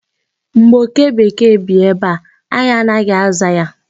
Mgbe oke bekee bi ebe a, anyị anaghị aza ya.